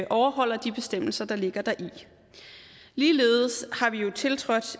overholder de bestemmelser der ligger deri ligeledes har vi jo tiltrådt